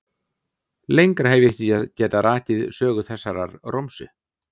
Lengra hef ég ekki getað rakið sögu þessarar romsu.